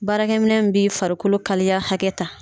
Baarakɛ minɛ min b'i farikolo kalaya hakɛta